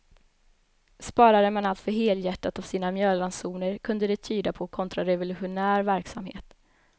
Sparade man alltför helhjärtat av sina mjölransoner kunde det tyda på kontrarevolutionär verksamhet.